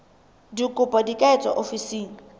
dikopo di ka etswa ofising